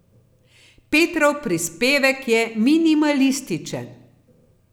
Petrov prispevek je minimalističen.